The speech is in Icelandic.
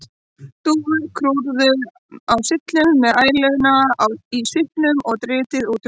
Dúfur kúrðu á syllum með æluna í svipnum og dritið út um allt.